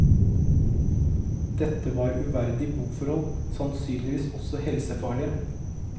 Dette var uverdige boforhold, sannsynligvis også helsefarlige.